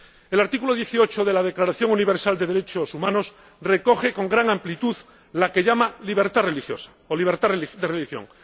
El artículo 18 de la Declaración Universal de Derechos Humanos recoge con gran amplitud la que llama libertad religiosa o libertad de religión.